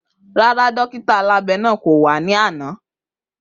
Rara, dọkito abẹ naa ko wa ni agbegbe ana.